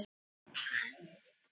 Nefndir leysa þann vanda ekki.